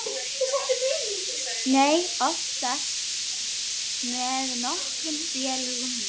Nei, oftast með nokkrum félögum mínum.